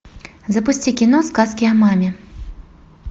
запусти кино сказки о маме